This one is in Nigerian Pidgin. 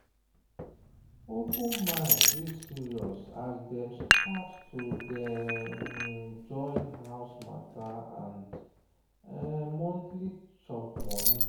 open mind dey serious as dem start to day join house matter and monthly chop money.